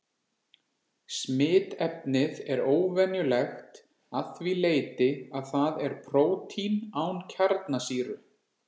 Smitefnið er óvenjulegt að því leyti að það er prótín án kjarnasýru.